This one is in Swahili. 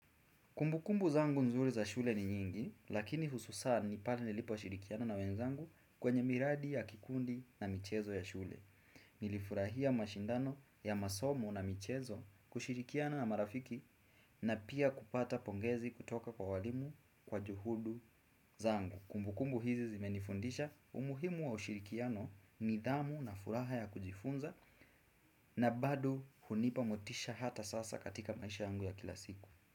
Kumbukumbu zangu nzuri za shule ni nyingi, lakini hususani pale niliposhirikiano na wenzangu kwenye miradi ya kikundi na michezo ya shule. Nilifurahia mashindano ya masomo na michezo kushirikiano na marafiki na pia kupata pongezi kutoka kwa walimu kwa juhudi zangu. Kumbukumbu hizi zimenifundisha umuhimu wa ushirikiano nidhamu na furaha ya kujifunza na bado hunipa motisha hata sasa katika maisha yangu ya kila siku.